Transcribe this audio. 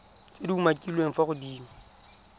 tse di umakiliweng fa godimo